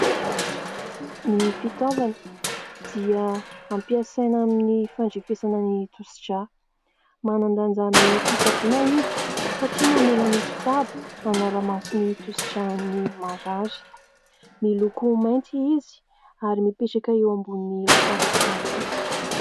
Ny fitaovana dia hampiasaina amin'ny fandrefesana ny tosi-drà. Manan-danja amin'ny fitsaboana izy satria mamela ny mpitsabo hanara-maso ny tosi-dràn'ny marary. Miloko mainty izy ary mipetraka eo ambony latabatra fotsy.